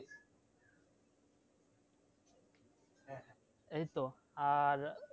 এই তো আর